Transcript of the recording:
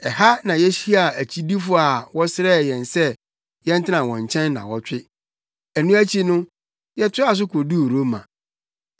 Ɛha na yehyiaa agyidifo bi a wɔsrɛɛ yɛn se yɛntena wɔn nkyɛn nnaawɔtwe. Ɛno akyi no, yɛtoaa so koduu Roma.